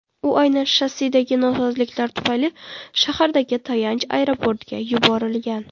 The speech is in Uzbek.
U aynan shassidagi nosozliklar tufayli shahardagi tayanch aeroportga yuborilgan.